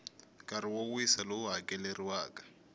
nkarhi wo wisa lowu hakeleriwaka